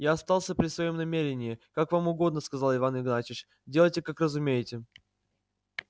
я остался при своём намерении как вам угодно сказал иван игнатьевич делайте как разумеете